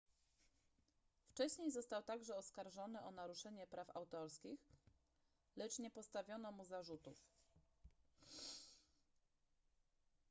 wcześniej został także oskarżony o naruszenie praw autorskich lecz nie postawiono mu zarzutów